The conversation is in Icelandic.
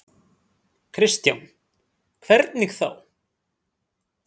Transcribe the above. Kristján: Hvernig þá?